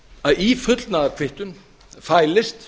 að í fullnaðarkvittun fælist